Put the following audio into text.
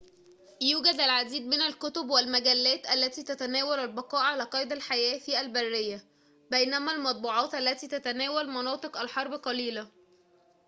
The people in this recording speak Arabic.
يوجد العديد من الكتب والمجلات التي تتناول البقاء على قيد الحياة في البرية بينما المطبوعات التي تتناول مناطق الحرب قليلة